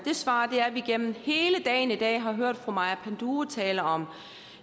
svar er at vi igennem hele dagen i dag har hørt fru maja panduro tale om